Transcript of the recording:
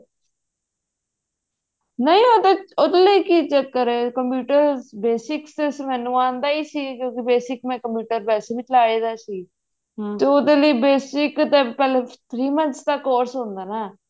ਨਹੀਂ ਨਹੀਂ ਉਹਦੇ ਚ ਕੀ ਚੱਕਰ ਹੈ computer basics ਤਾਂ ਮੈਨੂੰ ਆਉਂਦਾ ਹੀ ਸੀ basic ਮੈਂ computer ਵੇਸੇ ਵੀ ਤੇ ਉਹਦੇ ਲਈ basic ਤਾਂ ਪਹਿਲੇ three ਮੋੰਥ੍ਸ ਦਾ course ਹੁੰਦਾ ਨਾ